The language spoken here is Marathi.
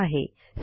यांनी दिलेला आहे